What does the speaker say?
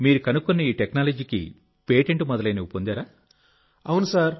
ఓహ్ మీరు కనుగొన్న ఈ సాంకేతికతకు పేటెంట్ మొదలైనవి పొందారా